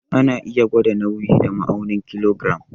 Ana iya gwada nauyi da ma'aunin kilogiram.